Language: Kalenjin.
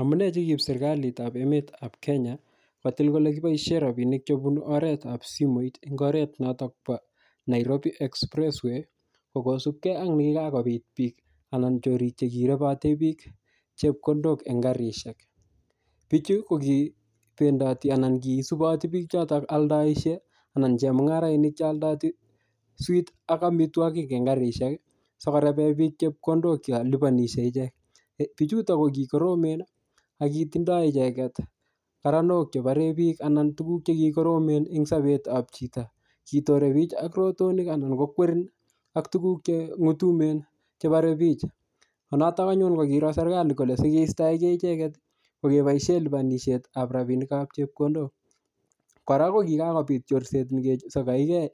Amunee che kiip serikalitap emetap Kenya, kotil kole kibosie rabinik chebunu oretap simoit eng oret notok po Nairobi expressway, ko kosubkey ak nekikakobit biik anan chorik che kirebate biik chepkondok en karishek. Bichu, ko kibendati anan kisuboti biik chotok aldoishe, anan chemung'arainik che aldooti sweet ak amitwogik en karishek, sikorebe biik chepkondok yolipanishe ichek. Bichutok ko kikoromen, ak kitindoi icheket karanok che bare biik anan tuguk che kikoromen en sabetap chito. Kitore biik ak rotonik anan kokwerin ak tuguk che ng'utumen che bare bich. Ko notok anyun kiro serikali kole sikeistoege icheket, ko keboise lipanishetap rabinik ap chepkondok. Kora ko kikakobit chorset negesagaige,